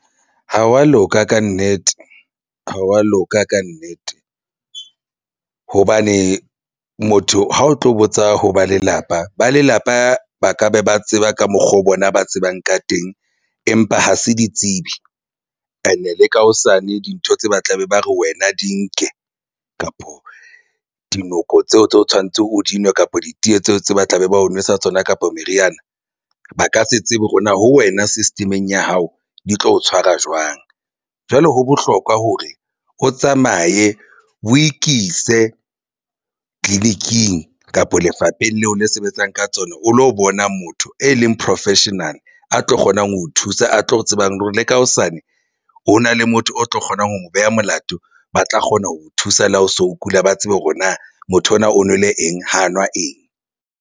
Ha wa loka kannete, ha wa loka kannete, hobane motho ha o tlo botsa ho ba lelapa. Ba lelapa ba ka be ba tseba ka mokgwa o bona ba tsebang ka teng, empa ha se ditsebi ene le ka hosane dintho tse ba tlabe ba re wena di nke kapo dinoko tseo tse o tshwanetseng o di nwe kapa ditee tseo tse ba tlabe ba o nwesa tsona kapa meriana ba ka se tsebe hore na ho wena system-eng ya hao di tlo o tshwara jwang. Jwale ho bohlokwa hore o tsamaye o ikise tleliniking kapa lefapheng leo le sebetsang ka tsona. O lo bona motho e leng professional a tlo kgonang ho thusa a tlo tsebang hore le ka hosane hona le motho o tlo kgonang ho mo beha molato. Ba tla kgona ho o thusa le ha o so o kula ba tsebe hore na motho ona o nwele eng ha nwa eng.